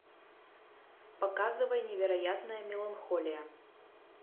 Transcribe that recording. показывай невероятная меланхолия